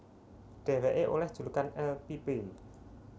Dheweke oleh julukan El Pibe